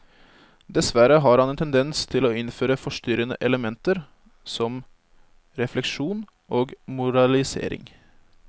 Dessverre har han en tendens til å innføre forstyrrende elementer som refleksjon og moralisering.